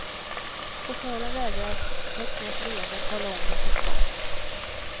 Chauffören vägrar med ett snett leende att tala om vart vi ska.